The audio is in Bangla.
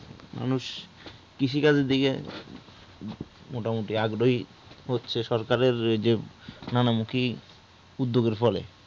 মানুষ কৃষি কাজ এর দিকে মোটামুটি আগ্রহী হচ্ছে সরকারের যে নানা মুখী উদ্যোগ এর ফলে